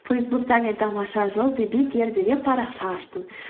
фейсбукте мен тамаша жыл деген парақша аштым